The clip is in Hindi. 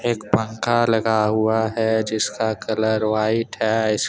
एक पंखा लगा हुआ है जिसका कलर वाइट है इसके।